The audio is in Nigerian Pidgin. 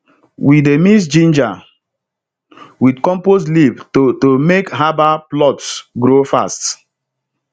we dey mix ginger with compost leaf to to make herbal plots grow fast